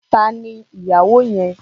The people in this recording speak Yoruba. Tani ni ìyàwó yẹn?